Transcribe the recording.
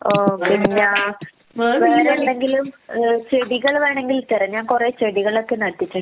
ഓഹ് പിന്നെ വേറെ എന്തെങ്കിലും ഏഹ് ചെടികൾ വേണെങ്കിൽ തരാം ഞാൻ കൊറയേ ചെടികളൊക്കെ നട്ടിട്ടുണ്ട്.